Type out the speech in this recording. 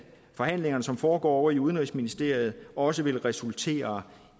forhandlingerne som foregår ovre i udenrigsministeriet også vil resultere